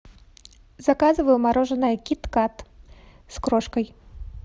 заказываю мороженое кит кат с крошкой